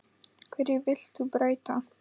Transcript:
Hverju vilt þú breyta?